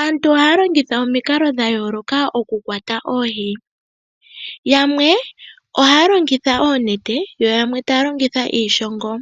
Aantu ohaya longitha omikalo dha yooloka okukwata oohi. Yamwe ohaya longitha oonete yo yamwe taya longitha iishongo.